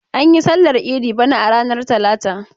An yi sallar idi bana a ranar talata.